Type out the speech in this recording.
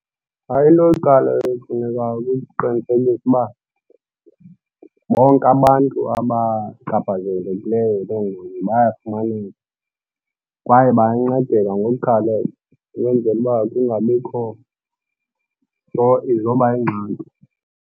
Hayi, into yokuqala efunekayo kukuqiniseka uba bonke abantu abachaphazelekileyo yiloo ngozi bayafumaneka kwaye bayancedeka ngokukhawuleza ukwenzela uba kungabikho nto izoba yingxaki.